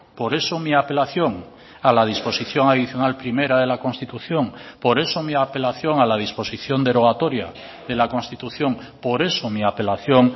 por eso mi apelación a la disposición adicional primera de la constitución por eso mi apelación a la disposición derogatoria de la constitución por eso mi apelación